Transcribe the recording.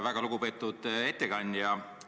Väga lugupeetud ettekandja!